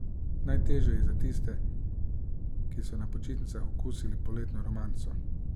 Najtežje je za tiste, ki so na počitnicah okusili poletno romanco.